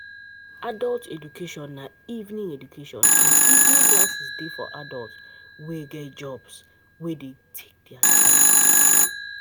Adult education and evening education and evening classes dey for adult wey get jobs wey dey take their time